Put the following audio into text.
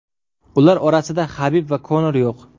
Ular orasida Habib va Konor yo‘q.